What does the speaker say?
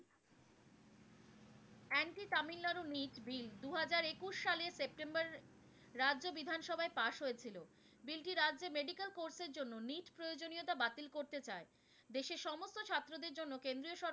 bill দু হাজার একুশ সালের সেপ্টেম্বরের রাজ্য বিধান সভায় pass হয়েছিল। bill টি রাজ্যের medical course এর জন্য প্রয়োজনীয়তা বাতিল করতে চায়। দেশের সমস্ত ছাত্রদের জন্য কেন্দ্রীয় সরকার